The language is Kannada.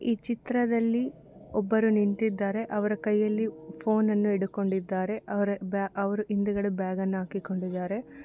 ಈ ಚಿತ್ರದಲ್ಲಿ ಒಬ್ಬರು ನಿಂತಿದ್ದಾರೆ ಅವರು ಕೈ ಯಲ್ಲಿ ಫೋನ್ ಅನ್ನು ಹಿಡುಕೊಂಡಿದ್ದಾರೆ ಅವ್ರ ಬ್ಯಾಗ್ ಅವ್ರ ಹಿಂದಗಡೆ ಬ್ಯಾಗ್ ಅನ್ನು ಹಾಕಿಕೊಂಡಿದ್ದಾರೆ.